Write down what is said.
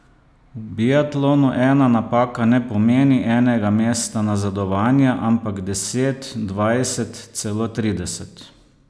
V biatlonu ena napaka ne pomeni enega mesta nazadovanja, ampak deset, dvajset, celo trideset.